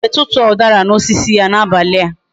Anyi ga eje tutuo udara na osisi ya na abali a